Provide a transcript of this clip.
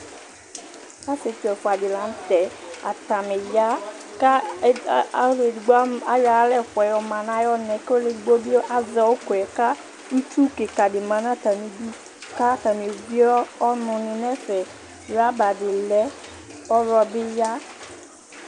asietsu ɛfua di lantɛ atani ya kò ɔlu edigbo ayɔ ay'ala ɛfuaɛ ɔma no ayi ɔnaɛ k'ɔlu edigbo bi azɛ òkòɛ k'itsu keka di ma n'atami du k'atani evie ɔnò ni n'ɛfɛ rɔba di lɛ kò ɔwlɔ bi ya